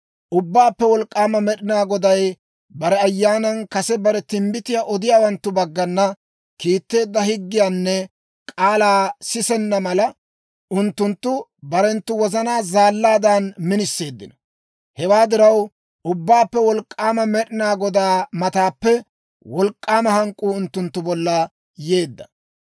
Ubbaappe Wolk'k'aama Med'inaa Goday bare Ayyaanan kase bare timbbitiyaa odiyaawanttu baggana kiitteedda higgiyaanne k'aalaa sisenna mala, unttunttu barenttu wozanaa zaallaadan miniseeddino. Hewaa diraw, Ubbaappe Wolk'k'aama Med'inaa Godaa mataappe wolk'k'aama hank'k'uu unttunttu bolla yeedda.